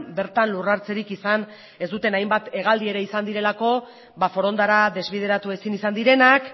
bertan lurra hartzerik izan ez duten hainbat hegaldi ere izan direlako forondara desbideratu ezin izan direnak